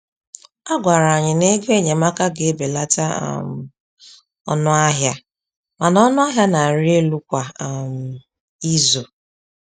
A gwara anyị na-ego enyemaka ga-ebelata um ọnụ ahịa mana ọnụ ahịa na-arị elu kwa um izu.